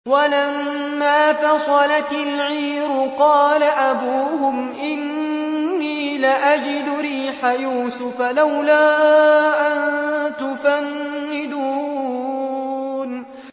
وَلَمَّا فَصَلَتِ الْعِيرُ قَالَ أَبُوهُمْ إِنِّي لَأَجِدُ رِيحَ يُوسُفَ ۖ لَوْلَا أَن تُفَنِّدُونِ